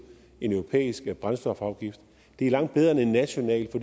en europæisk brændstofafgift det er langt bedre end en national